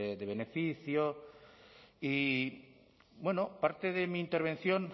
de beneficio y parte de mi intervención